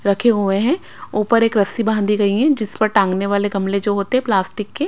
रखे हुए हैं ऊपर एक रस्सी बाहंदी गई है जिस पर टांगने वाले गमले जो होते प्लास्टिक के --